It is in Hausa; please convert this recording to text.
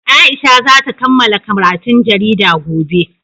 Aisha za ta kammala karatun jarida gobe.